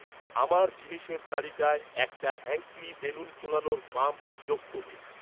আমার জিনিসের তালিকায় একটা হ্যাঙ্কলি বেলুন ফোলানোর পাম্প যোগ করুন।